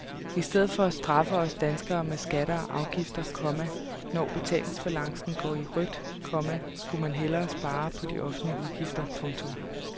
I stedet for at straffe os danskere med skatter og afgifter, komma når betalingsbalancen går i rødt, komma skulle man hellere spare på de offentlige udgifter. punktum